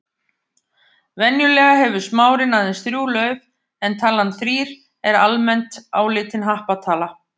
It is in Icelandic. Kolsýrlingur sem einnig er í sígarettureyk getur verið lífshættulegur í stórum skömmtum.